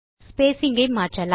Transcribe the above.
spacing ஐ மாற்றலாம்